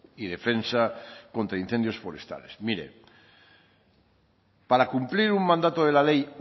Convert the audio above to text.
y defensa contra incendios forestales mire para cumplir un mandato de la ley